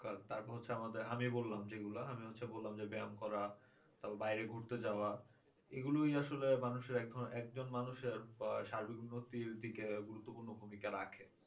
তারপর হচ্ছে আমাদের আমি বললাম যেগুলা আমি হচ্ছে বললাম ব্যায়াম করা বা বাইরে ঘুরতে যাওয়া এইগুলাই আসলে একজন মানুষের সার্বিক উন্নতির দিকে গুরুত্বপূর্ণ ভূমিকা রাখে